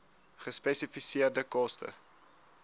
gespesifiseerde koste